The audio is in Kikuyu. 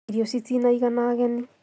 Irio citina igana ageni